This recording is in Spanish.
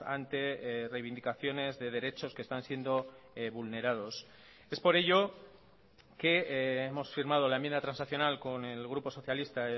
ante reivindicaciones de derechos que están siendo vulnerados es por ello que hemos firmado la enmienda transaccional con el grupo socialista